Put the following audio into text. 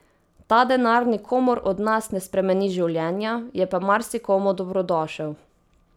Ta denar nikomur od nas ne spremeni življenja, je pa marsikomu dobrodošel.